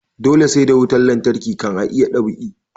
Dole sai da wutan lantarki kan a iya dab'i